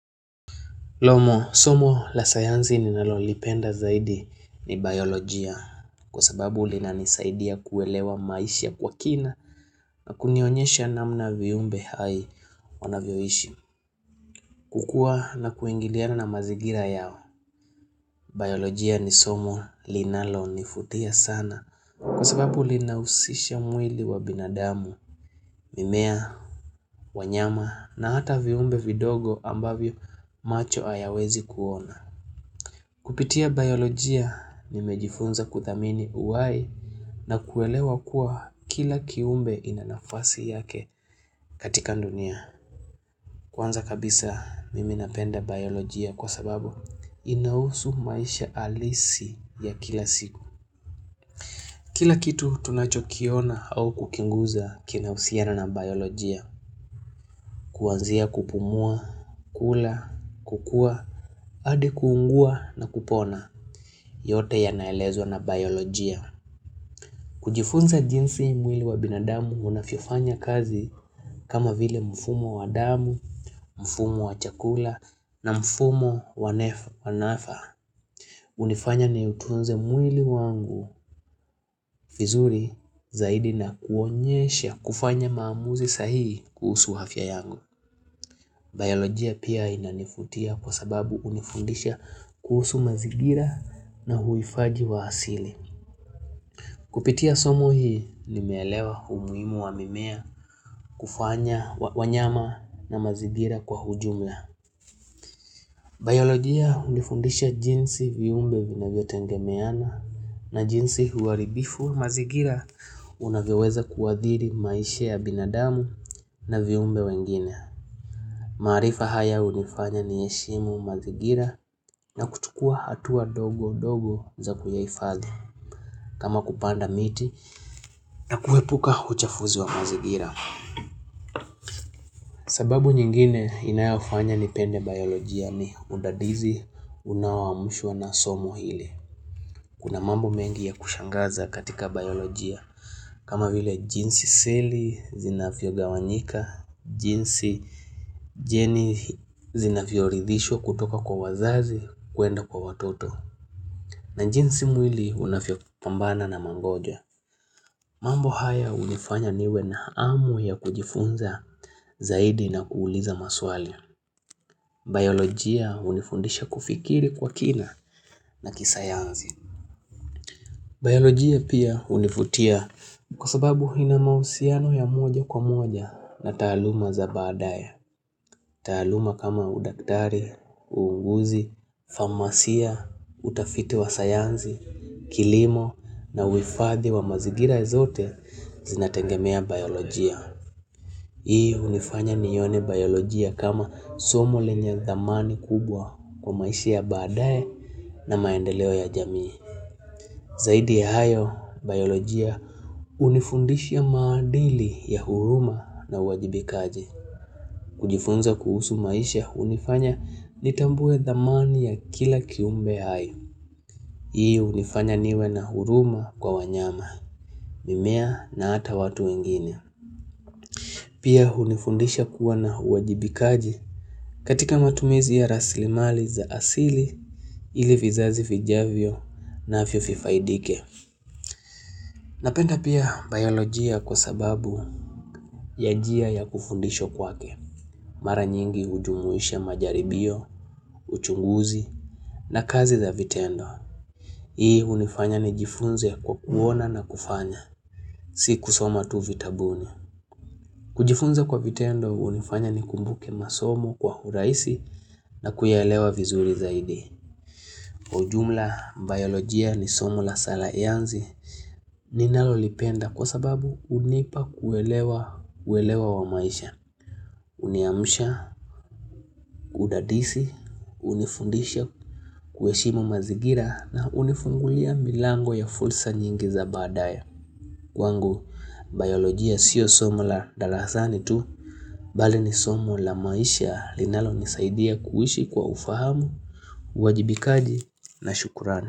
Somo, somo la sayansi ninalolipenda zaidi ni biolojia Kwa sababu linanisaidia kuelewa maisha kwa kina na kunionyesha namna viumbe hai wanavyoishi kukua na kuingiliana na mazigira yao Biolojia ni somo linalo nifutia sana Kwa sababu lina usisha mwili wa binadamu mimea, wanyama na hata viumbe vidogo ambavyo macho hayawezi kuona Kupitia biolojia mimejifunza kuthamini uwai na kuelewa kuwa kila kiumbe ina nafasi yake katika dunia. Kwanza kabisa mimi napenda biolojia kwa sababu inahusu maisha alisi ya kila siku. Kila kitu tunachokiona au kukiguza kinahusiana na biolojia. Kuanzia kupumua, kula, kukua, hadi kuungua na kupona yote yanaelezwa na biolojia. Kujifunza jinsi mwili wa binadamu unavyofanya kazi kama vile mfumo wa damu, mfumo wa chakula na mfumo wanafa. Unifanya ni utunze mwili wangu vizuri zaidi na kuonyesha kufanya maamuzi sahii kuhusu afya yangu. Biolojia pia inanifutia kwa sababu unifundisha kuhusu mazigira na huifaji wa asili. Kupitia somo hii nimeelewa umuhimu wa mimea kufanya wanyama na mazingira kwa ujumla. Biologia unifundisha jinsi viumbe vinavyo tengemeana na jinsi huaribifu mazigira unavyoweza kuadhiri maisha ya binadamu na viumbe wengine. Maarifa haya unifanya ni heshimu mazigira na kutukua atua ndogo ndogo za kuyaifadhi. Kama kupanda miti na kuepuka uchafuzi wa mazigira sababu nyingine inayofanya nipende biolojia ni udadisi unaoamushwa na somo ile Kuna mambo mengi ya kushangaza katika biolojia kama vile jinsi seli vinayogawanyika jinsi jeni zinavyo ridhishwa kutoka kwa wazazi kuenda kwa watoto na jinsi mwili unafyo pambana na mangojwa mambo haya unifanya niwe na amu ya kujifunza zaidi na kuuliza maswali. Biolojia unifundisha kufikiri kwa kina na kisayansi. Biolojia pia unifutia kwa sababu ina mausiano ya moja kwa moja na taaluma za badaya. Taaluma kama udaktari, uunguzi, farmasia, utafiti wa sayansi, kilimo na uhifadhi wa mazigira zote zinatengemea biolojia. Hii unifanya nione biolojia kama somo lenye dhamani kubwa kwa maisha ya badae na maendeleo ya jamii. Zaidi ya hayo, biolojia unifundisha maadili ya huruma na uwajibikaji. Kujifunza kuhusu maisha unifanya nitambue dhamani ya kila kiumbe hayo. Hii unifanya niwe na huruma kwa wanyama, mimea na ata watu wengine. Pia hunifundisha kuwa na uwajibikaji katika matumizi ya rasilimali za asili ili vizazi vijavyo navyo fifaidike. Napenda pia biolojia kwa sababu ya njia ya kufundishwa kwake. Mara nyingi ujumuisha majaribio, uchunguzi na kazi za vitendo. Hii hunifanya nijifunze kwa kuona na kufanya. Si kusoma tu vitabuni. Kujifunza kwa vitendo unifanya nikumbuke masomo kwa urahisi na kuyaelewa vizuri zaidi. Ujumla biolojia ni somo la salansi ninalolipenda kwa sababu unipa kuelewa wa maisha. Uniamsha, kudadisi, unifundisha kueshimu mazigira na unifungulia milango ya fursa nyingi za baadae. Kwangu, biolojia sio somo la darasani tu, bali ni somo la maisha linalo nisaidia kuishi kwa ufahamu, uwajibikaji na shukurani.